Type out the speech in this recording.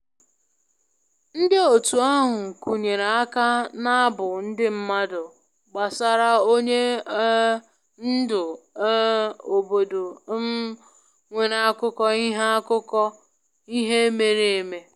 Ndị otu ahụ kụnyere aka n'abụ ndị mmadụ gbasara onye um ndu um obodo um nwere akụkọ ihe akụkọ ihe mere eme